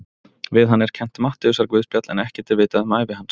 Við hann er kennt Matteusarguðspjall en ekkert er vitað um ævi hans.